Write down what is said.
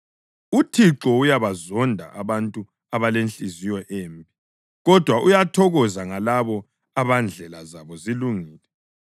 UThixo uyabazonda abantu abalenhliziyo embi, kodwa uyathokoza ngalabo abandlela zabo zilungile.